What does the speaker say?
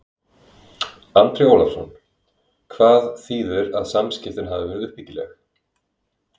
Andri Ólafsson: Hvað þýðir að samskiptin hafi verið uppbyggileg?